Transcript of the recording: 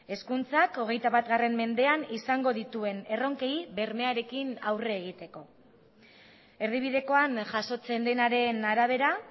hezkuntzak hogeita bat mendean izango dituen erronkei bermearekin aurre egiteko erdibidekoan jasotzen denaren arabera